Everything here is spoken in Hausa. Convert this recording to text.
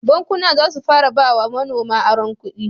Bankuna zasu fara ba wa manoma aron kudi